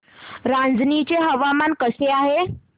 रांझणी चे हवामान कसे आहे